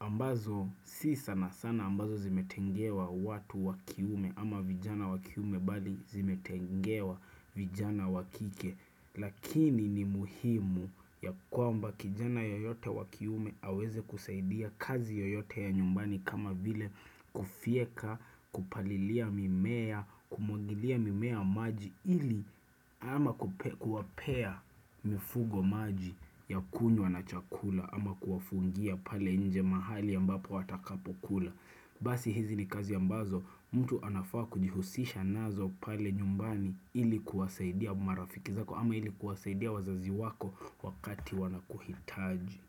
ambazo si sana sana ambazo zimetengewa watu wa kiume ama vijana wa kiume bali zimetengewa vijana wa kike Lakini ni muhimu ya kwamba kijana yoyote wa kiume aweze kusaidia kazi yoyote ya nyumbani kama vile kufyeka, kupalilia mimea, kumwagilia mimea maji ili ama kuwapea mifugo maji ya kunywa na chakula ama kuwafungia pale nje mahali ambapo watakapokula basi hizi ni kazi ambazo mtu anafaa kujihusisha nazo pale nyumbani ili kuwasaidia marafiki zako ama ili kuwasaidia wazazi wako wakati wanakuhitaji.